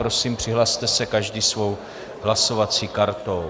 Prosím, přihlaste se každý svou hlasovací kartou.